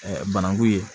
bananku ye